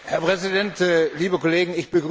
Herr Präsident, liebe Kollegen!